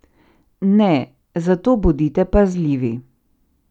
Ne, zato bodite pazljivi.